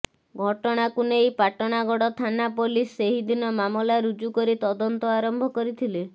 ଘଟଣାକୁ ନେଇ ପାଟଣାଗଡ଼ ଥାନା ପୋଲିସ୍ ସେହିଦିନ ମାମଲା ରୁଜୁ କରି ତଦନ୍ତ ଆରମ୍ଭ କରିଥିଲେ